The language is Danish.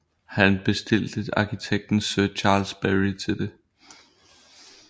Han bestilte arkitekten sir Charles Barry til det